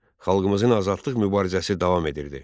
Xalqımızın azadlıq mübarizəsi davam edirdi.